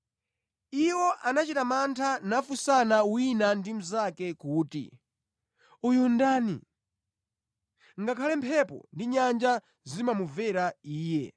Iwo anachita mantha nafunsana wina ndi mnzake kuti, “Uyu ndani? Ngakhale mphepo ndi nyanja zimumvera Iye!”